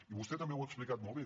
i vostè també ho ha explicat molt bé